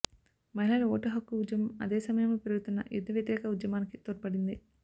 మహిళల ఓటు హక్కు ఉద్యమం అదే సమయంలో పెరుగుతున్న యుద్ధ వ్యతిరేక ఉద్యమానికి తోడ్పడింది